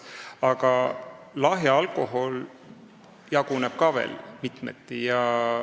Aga ka lahja alkohol jaguneb mitmeti.